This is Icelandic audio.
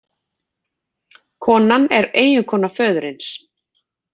Konan er eiginkona föðursins